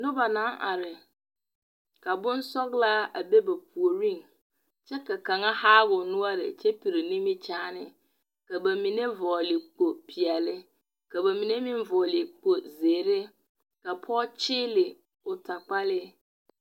Noba naŋ are ka bonsͻgelaa a be ba puoriŋ kyԑ ka kaŋa haa o noͻre kyԑ piri nimikyaana, ka ba mine vͻgele kpo-peԑle ka ba mine meŋ vͻgele kpo-zeere. Ka pͻge kyeele o takpalee.